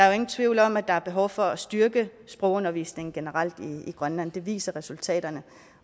jo ingen tvivl om at der er behov for at styrke sprogundervisningen generelt i grønland det viser resultaterne